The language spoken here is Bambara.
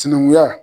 Sinankunya